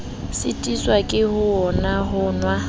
sitiswa ke hona ho nwa